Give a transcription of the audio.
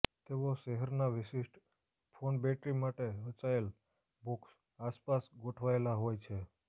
તેઓ શહેરના વિશિષ્ટ ફોન બેટરી માટે રચાયેલ બોક્સ આસપાસ ગોઠવાયેલા હોય છે